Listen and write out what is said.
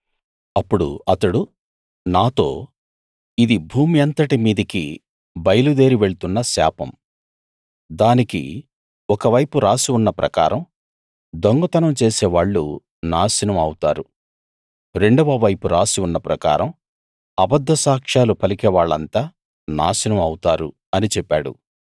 అప్పుడు అతడు నాతో ఇది భూమి అంతటి మీదికీ బయలుదేరి వెళ్తున్న శాపం దానికి ఒక వైపు రాసి ఉన్న ప్రకారం దొంగతనం చేసేవాళ్ళు నాశనం అవుతారు రెండవ వైపు రాసి ఉన్న ప్రకారం అబద్ద సాక్ష్యాలు పలికేవాళ్ళంతా నాశనం అవుతారు అని చెప్పాడు